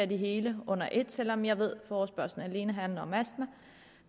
det hele under et selv om jeg ved at forespørgslen alene handler om astma